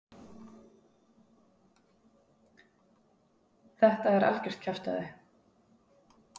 Þetta er algjört kjaftæði?